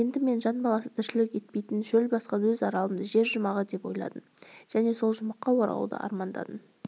енді мен жан баласы тіршілік етпейтін шөл басқан өз аралымды жер жұмағы деп ойладым және сол жұмаққа оралуды армандадым